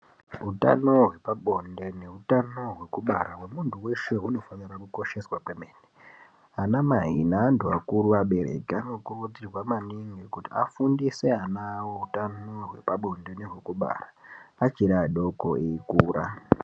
Hutano hwepabonde, nehutano hwekubara hwemuntu weshe unifanira kukosheswa kwemene. Anamai ne antu akuru vabereki anokurudzirwa maningi kuti afundise ana hutano hwepabonde nehwekubara achiri adoko eyikura.